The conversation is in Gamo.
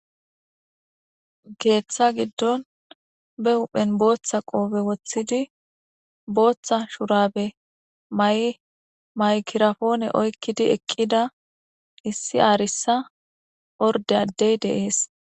geeththa giddon be huphen booththa qoobe woththidi booththa shurabe ma7maykirafoone oykkidi eqqida issi aarissa orde addey deees